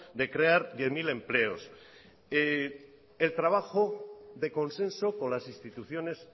de crear diez mil empleos el trabajo de consenso con las instituciones